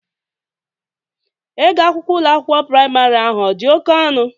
Ego akwụkwọ Ụlọ akwụkwọ praịmarị ahụ ọ dị oke ọnụ?